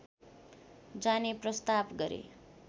जाने प्रस्ताव गरे